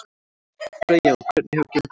Freyja: Og hvernig hefur gengið?